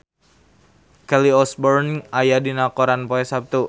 Kelly Osbourne aya dina koran poe Saptu